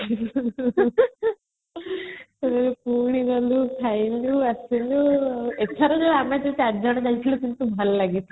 ଥରେ ପୁଣି ଗଲେ ଖାଇଲେ ଆସିଲେ ଏଥର ବି ଆମେ ଯେତେବେଳେ ଚାରିଜନ ଯାଇଥିଲୁ ଭଲ ଲାଗିଥିଲା